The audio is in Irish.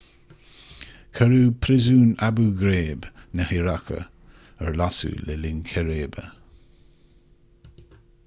cuireadh príosún abu ghraib na hiaráice ar lasadh le linn círéibe